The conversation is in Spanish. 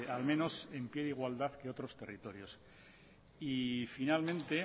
al menos en pie de igualdad que otros territorios y finalmente